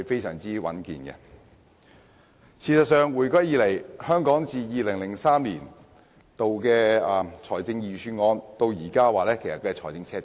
事實上，香港回歸後自2003年起，財政預算案從沒錄得財政赤字。